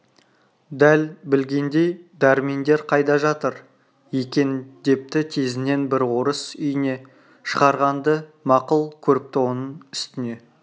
дәл білгендей дәрмендер қайда жатыр екен депті тезінен бір орыс үйіне шығарғанды мақұл көріпті оның үстіне